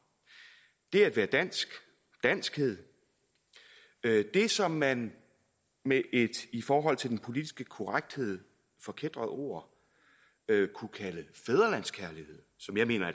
det at være dansk danskhed det som man med et i forhold til den politiske korrekthed forkætret ord kunne kalde fædrelandskærlighed som jeg mener